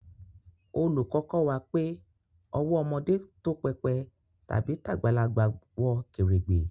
Oluko ko wa pe owó ọmọdé tó pépè tàbí tagbalagbà wọ kèrègbè